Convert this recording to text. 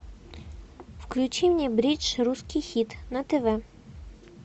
включи мне бридж русский хит на тв